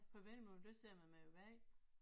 På vendelbomål der siger man man er vag